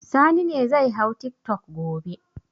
Sani ne zai hau tiktok gobe.